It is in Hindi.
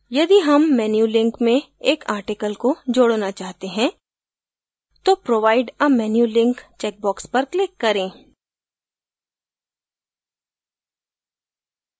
यदि हम menu link में एक article को जोडना चाहते हैं तो provide a menu link checkbox पर click करें